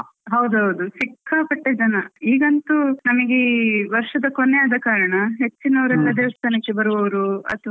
ಹೌದೌದು, ಸಿಕ್ಕಾಪಟ್ಟೆ ಜನ ಈಗಂತೂ ನಮಿಗೇ ವರ್ಷದ ಕೊನೆ ಆದಾ ಕಾರಣ ಹೆಚ್ಚಿನವ್ರೆಲ್ಲ ದೇವಸ್ಥಾನಕ್ಕೆ ಬರುವವ್ರು ಅತ್ವಾ.